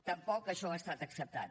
tampoc això ha estat acceptat